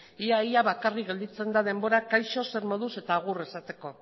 ia ia bakarrik gelditzen da denbora kaixo zer moduz eta agur esateko